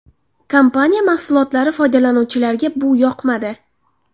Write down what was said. Kompaniya mahsulotlari foydalanuvchilariga bu yoqmadi.